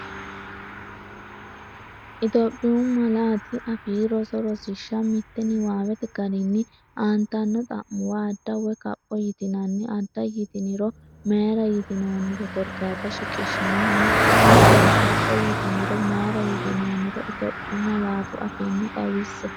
Itophiyu Malaatu Afii Roso Rosiishsha Mite Niwaawete garinni aantanno xa’muwa adda woy kapho yitinanni “adda” yitiniro mayira yitinoonniro korkaata shiqishshinanni hattono “kapho” yitiniro mayira yitinoonniro Itophiyu malaatu afiinni xawisse.